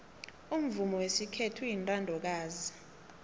umvumo wesikhethu uyintandokazi